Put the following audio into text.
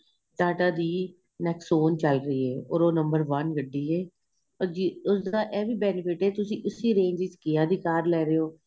ਟਾਟਾ ਦੀ nexon ਚੱਲ ਰਹੀ ਏ ਔਰ ਉਹ number one ਗੱਡੀ ਏ ਔਰ ਉਸ ਦਾ ਏਹੀ benefit ਏ ਤੁਸੀਂ ਇਸ range ਚ KIA ਦੀ ਕਾਰ ਲੇ ਰਹੇ ਹੋ